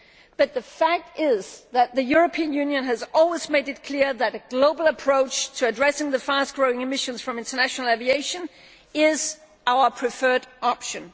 But the fact is that the European Union has always made it clear that a global approach to addressing the fast growing emissions from international aviation is our preferred option.